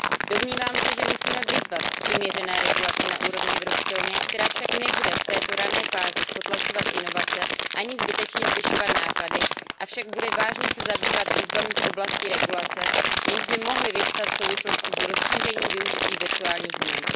Domnívám se, že musíme vyzvat k přiměřené regulaci na úrovni EU, která však nebude v této rané fázi potlačovat inovace ani zbytečně zvyšovat náklady, avšak bude vážně se zabývat výzvami v oblasti regulace, jenž by mohly vyvstat v souvislosti s rozšířením využití virtuálních měn.